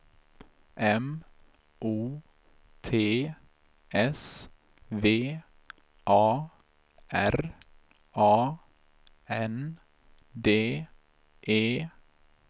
M O T S V A R A N D E